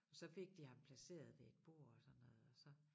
Og så fik de ham placeret ved et bord og sådan noget og så